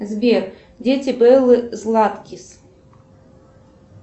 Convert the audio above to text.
сбер дети беллы златкис